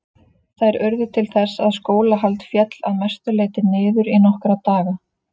Þær urðu til þess að skólahald féll að mestu leyti niður í nokkra daga.